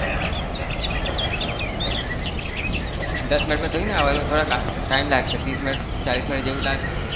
દસ મિનિટમાં થોડીને આવાનું હોય થોડો time લાગશે ત્રીસ મિનિટ ચાલીસ મિનિટ જેવું લાગશે.